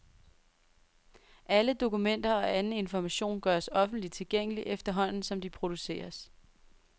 Alle dokumenter og anden information gøres offentlig tilgængelig efterhånden som de produceres.